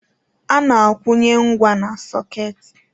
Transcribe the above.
A-na akwụnye ngwa na-sọketị.